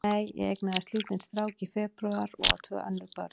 Nei, ég eignaðist lítinn strák í febrúar og á tvö önnur börn.